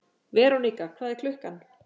Verónika, hvað er klukkan?